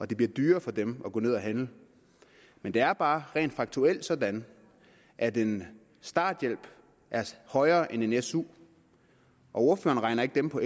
det bliver dyrere for dem at gå ned at handle men det er bare rent faktuelt sådan at en starthjælp er højere end en su og ordføreren regner ikke dem på